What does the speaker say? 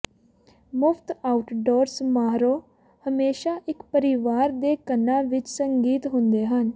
ਮੁਫ਼ਤ ਆਊਟਡੋਰ ਸਮਾਰੋਹ ਹਮੇਸ਼ਾ ਇੱਕ ਪਰਿਵਾਰ ਦੇ ਕੰਨਾਂ ਵਿੱਚ ਸੰਗੀਤ ਹੁੰਦੇ ਹਨ